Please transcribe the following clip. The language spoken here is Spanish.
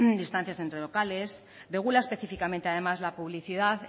distancias entre locales regula específicamente además la publicidad